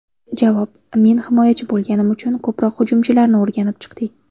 Javob: Men himoyachi bo‘lganim uchun ko‘proq hujumchilarni o‘rganib chiqdik.